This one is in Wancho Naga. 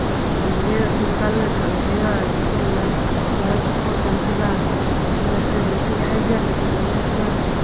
khapong jega pink color khah le taiga chepong la tua cheppng le tam tega gag soi ma khanyak ye le cheley ngan tega.